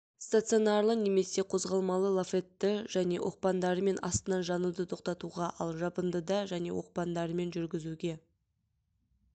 стационарлы немесе қозғалмалы лафетті және оқпандарымен астынан жануды тоқтатуға ал жабындыда және оқпандарымен жүргізуге